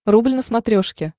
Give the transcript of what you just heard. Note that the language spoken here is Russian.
рубль на смотрешке